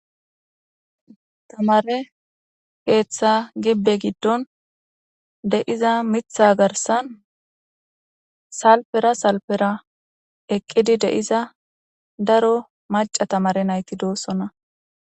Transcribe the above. Tamaare keeththa gibbe giddon de7iza miththa garsan salppere salppera eqqidi de7iza daro macca tamaare nayti de7oosona.